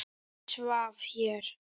Hann svaf hér.